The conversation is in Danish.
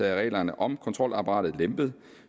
af reglerne om kontrolapparatet lempet